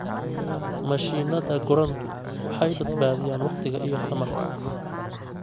Mashiinnada gurantu waxay badbaadiyaan waqti iyo tamar.